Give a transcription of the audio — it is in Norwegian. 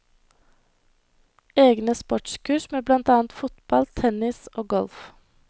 Egne sportskurs med blant annet fotball, tennis og golf.